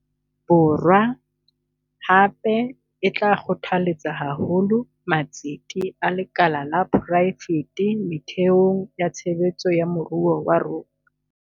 Borwa, hape, e tla kgothaletsa haholo matsete a lekala la poraefete methe ong ya tshebetso ya moruo wa rona.